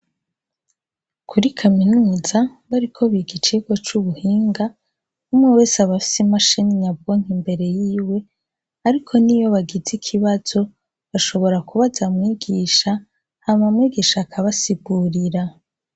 Kuri kaminuza bariko biga icirwa cubuhinga umwewese abafise imashini nyabwonko imbere yiwe ariko niyo bagize Ikibazo bashobora kubaza mwigisha hama mwigisha akabasigurira